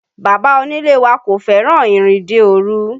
Bàbá onílé wa kò fẹ́ràn ìrìnde òru